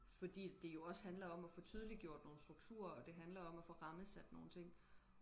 fordi at det jo også handler om og få tydeliggjort nogle strukture og det handler om og få rammesat nogle ting